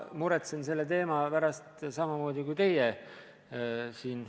Ma muretsen selle teema pärast samamoodi kui teie.